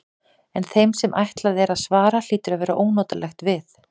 En þeim sem ætlað er að svara hlýtur að verða ónotalega við.